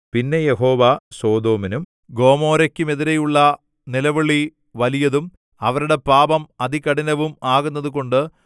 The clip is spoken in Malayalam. പിന്നെ യഹോവ സൊദോമിനും ഗൊമോരയ്ക്കുമെതിരെയുള്ള നിലവിളി വലിയതും അവരുടെ പാപം അതികഠിനവും ആകുന്നതുകൊണ്ട്